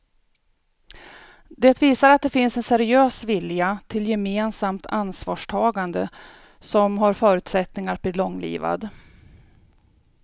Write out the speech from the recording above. Det visar att det finns en seriös vilja till gemensamt ansvarstagande som har förutsättningar att bli långlivad.